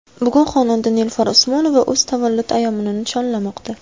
Bugun xonanda Nilufar Usmonova o‘z tavallud ayyomini nishonlamoqda.